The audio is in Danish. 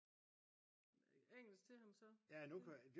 engelsk til ham så